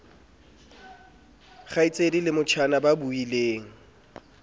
kgaitsedi le motjhana ba buileng